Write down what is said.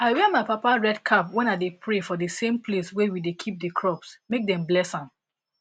i wear my papa red cap when i dey pray for the same place wey we dey keep the crops make dem bless am